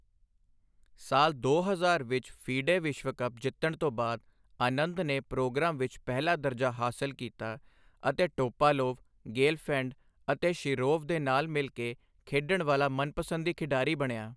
ਸਾਲ ਦੋ ਹਜ਼ਾਰ ਵਿੱਚ ਫੀਡੇ ਵਿਸ਼ਵ ਕੱਪ ਜਿੱਤਣ ਤੋਂ ਬਾਅਦ ਆਨੰਦ ਨੇ ਪ੍ਰੋਗਰਾਮ ਵਿੱਚ ਪਹਿਲਾ ਦਰਜਾ ਹਾਸਲ ਕੀਤਾ ਅਤੇ ਟੋਪਾਲੋਵ, ਗੇਲਫੈਂਡ ਅਤੇ ਸ਼ਿਰੋਵ ਦੇ ਨਾਲ ਮਿਲ ਕੇ ਖੇਡਣ ਵਾਲਾ ਮਨਪਸੰਦੀ ਖਿਡਾਰੀ ਬਣਿਆ।